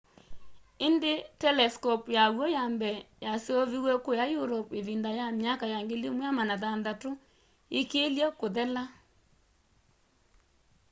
indi telescope ya w'o ya mbee yaseovĩwe kũya europe ivinda ya myakani ya 1600 ikilye kuthela